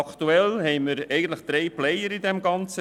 Aktuell haben wir drei Player im Ganzen: